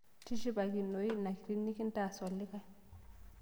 Tishipakinoi ina kiti nikintaas olikae